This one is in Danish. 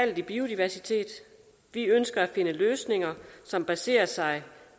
i biodiversiteten vi ønsker at finde løsninger som baserer sig